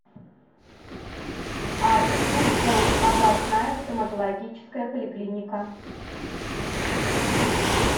адрес тульская областная стоматологическая поликлиника